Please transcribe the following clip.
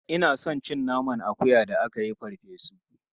Ina son naman akuya da aka yi farfe su.